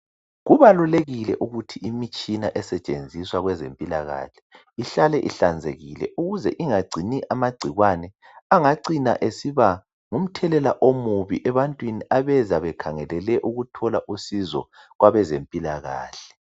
Kubalulekile ukuthi imitshina esetshenziswa ekuhloleni abagulayo ihlale ihlanzekile ukuze ingagcini amagcikwane angacina esiba ngumthelela omubi ebantwini abeza bekhangelele ukuthola usizo kwabezempilakahle.